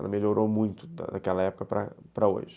Ela melhorou muito daquela época para para hoje.